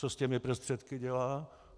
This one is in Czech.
Co s těmi prostředky dělá?